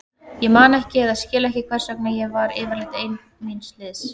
Ég man ekki eða skil ekki hvers vegna ég var yfirleitt ein míns liðs.